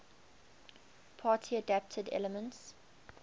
party adapted elements